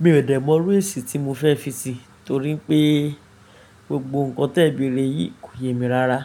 Mi ò dẹ̀ mọrú èsì tí mo fẹ́ fi sí i torí pé gbogbo nǹkan tí ẹ béèrè yìí kò yẹ mi rara.